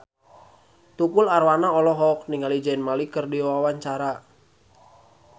Tukul Arwana olohok ningali Zayn Malik keur diwawancara